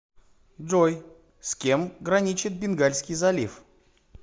джой с кем граничит бенгальский залив